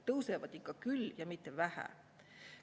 Tõusevad ikka küll ja mitte vähe.